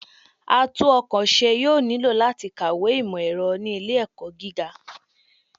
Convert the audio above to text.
Atún-ọ̀kọ̀ ṣe yoo nilo lati kawe imọ-ẹrọ ni ile-ẹkọ gíga